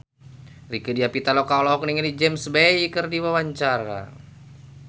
Rieke Diah Pitaloka olohok ningali James Bay keur diwawancara